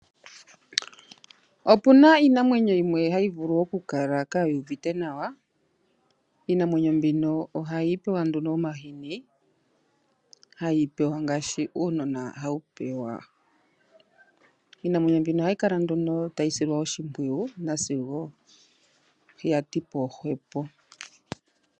Opu na iinamwenyo yimwe hayi vulu okukala ka yuuvite nawa. Iinamwenyo mbino ohayi pewa nduno omahini hayi pewa ngaashi uunona hawu pewa. Iinamwenyo mbino ohayi kala nduno tayi silwa oshimpwiyu nasigo ya ti po hwepo.